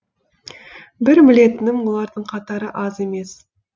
бір білетінім олардың қатары аз емес